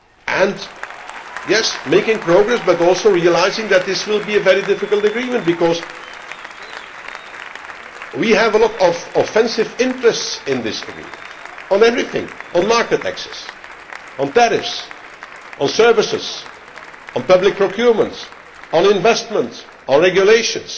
it. And yes, making progress, but also realising that this will be a very difficult agreement, because we have a lot of offensive interests in this agreement, on everything on market taxes, on tariffs, on services, on public procurement, on investment, on regulations.